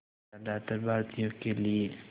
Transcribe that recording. ज़्यादातर भारतीयों के लिए